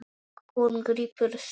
Hún grípur símann.